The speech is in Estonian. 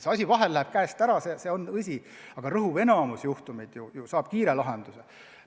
Vahel läheb asi käest ära, see on tõsi, aga rõhuv enamik juhtumeid saab kiire lahenduse.